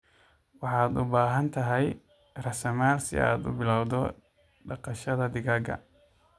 Waxaad u baahan tahay raasamaal si aad u bilowdo dhaqashada digaaga.